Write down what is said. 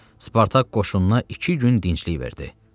Spartak qoşununa iki gün dinclik verdi.